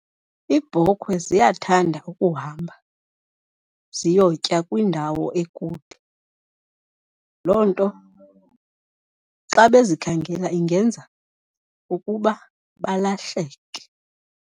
Iibhokhwe ziyathanda ukuhamba ziyotya kwindawo ekude. Loo nto xa bezikhangelela ingenza ukuba balahleke.